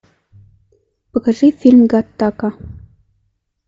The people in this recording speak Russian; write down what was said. покажи фильм гаттака